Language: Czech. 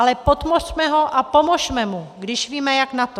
Ale podpořme ho a pomozme mu, když víme, jak na to.